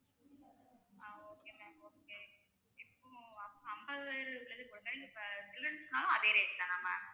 ஆஹ் okay ma'am okay இப்போ அ~ அம்பதாயிரம் உள்ளதா போட்ட இப்ப childrens னாலும் அதே rate தானா ma'am